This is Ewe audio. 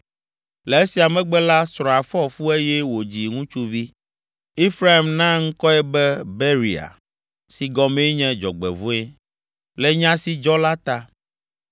Le esia megbe la, srɔ̃a fɔ fu eye wòdzi ŋutsuvi. Efraim na ŋkɔe be Beria, si gɔmee nye “Dzɔgbevɔ̃e,” le nya si dzɔ la ta.